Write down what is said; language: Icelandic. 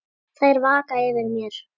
Þær vaka yfir mér.